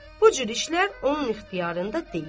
Bu cür işlər onun ixtiyarında deyil.